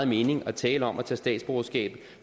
mening at tale om at tage statsborgerskab